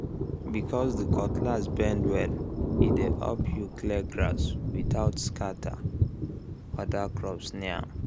because the cutlass bend well e dey help you clear grass without scatter other crops near am